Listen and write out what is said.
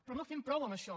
però no fem prou amb això